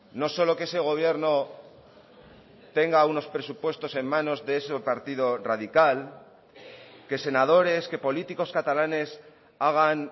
no solo que ese gobierno tenga unos presupuestos en manos de ese partido radical que senadores que políticos catalanes hagan